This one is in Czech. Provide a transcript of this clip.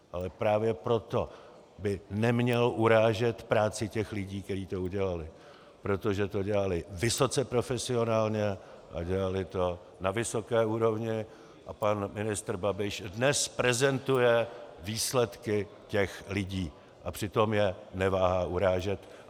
Ale právě proto by neměl urážet práci těch lidí, kteří to udělali, protože to dělali vysoce profesionálně a dělali to na vysoké úrovni, a pan ministr Babiš dnes prezentuje výsledky těch lidí, a přitom je neváhá urážet.